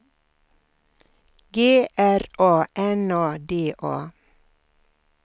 G R A N A D A